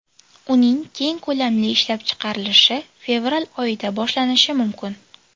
Uning keng ko‘lamli ishlab chiqarilishi fevral oyida boshlanishi mumkin.